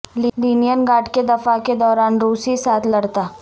linen گراڈ کے دفاع کے دوران روسی ساتھ لڑتا